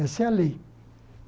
Essa é a lei.